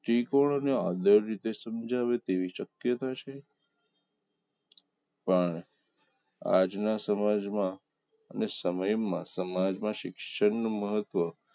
દ્રષ્ટિકોણ ને આદર રીતે સમજાવી તેવી શક્યતા છે પણ આજના સમાજમાં અને સમયમાં સમાજ ના શિક્ષણ નું મહત્વ